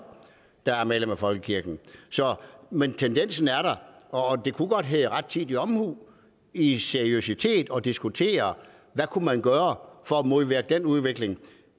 der er medlemmer af folkekirken men tendensen er der og det kunne godt være rettidig omhu i seriøsitet at diskutere hvad man kunne gøre for at modvirke den udvikling